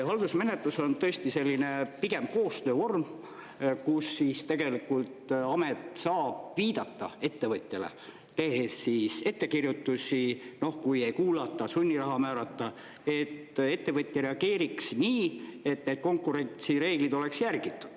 Haldusmenetlus on tõesti selline pigem koostöövorm, kus tegelikult amet saab viidata ettevõtjale, tehes ettekirjutusi, kui ei kuulata, sunniraha määrata, et ettevõtja reageeriks nii, et need konkurentsireeglid oleks järgitud.